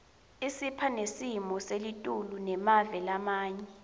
isipha nesimo selitulu semave lamanye